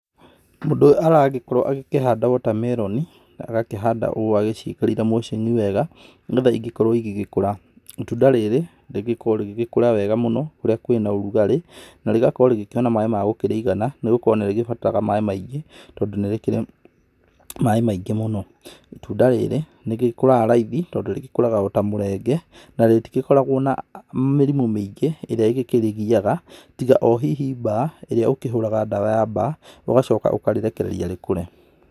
Mũndũ ũyũ aragĩkorwo akĩhanda watermelon, agakĩhanda ũũ agĩciĩkĩrĩire mulching wega, nĩgetha cigĩkorwo cigĩkũra. Itunda rĩrĩ rĩgĩkoragwo rĩgĩkũra wega mũno kũrĩa kũrĩ na ũrugarĩ. Na rĩgakorwo rĩkĩona maaĩ ma gũkĩrĩigana nĩgũkorwo nĩrĩbataraga maaĩ maingĩ, tondũ nĩ rĩkĩrĩ maaĩ maingĩ mũno. Itunda rĩrĩ nĩrĩkũraga raithi, tondũ rĩgĩkũraga ota mũrenge na rĩgĩtikoragwo na mĩrimũ mĩingĩ ĩrĩa ĩkĩrĩgiyaga tiga o hihi mbaa, ĩrĩa ũhũraga ndawa ya mbaa ũgacoka ũkarĩrekereria rĩkũre.